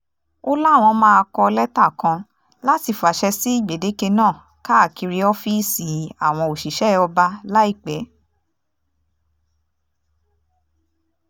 ó láwọn máa kọ lẹ́tà kan láti fàṣẹ sí gbèdéke náà káàkiri ọ́fíìsì àwọn òṣìṣẹ́ ọba láìpẹ́